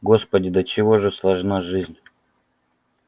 господи до чего же сложна жизнь